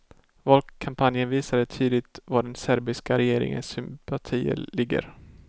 Valkampanjen visade tydligt var den serbiska regeringens sympatier ligger.